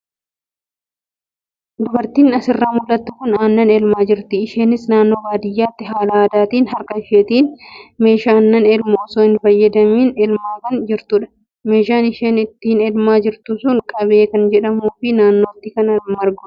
Dubartiin asirraa mul'attu kun aannan elmaa jirti. Isheenis naannoo baadiyyaatti haala aadaatiin harka isheetiin maashina aannan elmu osoo hin fayyadamiin elmaa kan jirtudha. Meeshaan isheen itti elmaa jirtu sun qabee kan jedhamuu fi naannootti kan margudha.